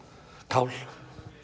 kál